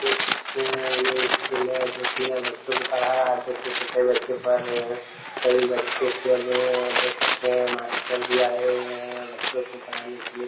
देख सकते हैं ये स्कूल है जो की यहाँ बच्चों को पढ़ा रहे है देख सकते है कई बच्चे पढ़ रहे हैं कई बच्चे खेल रहे हैं और देख सकते है मास्टर भी आए हुए हैं बच्चों को पढ़ने के लिए--